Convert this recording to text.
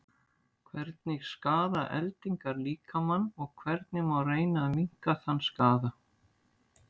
hvernig skaða eldingar líkamann og hvernig má reyna að minnka þann skaða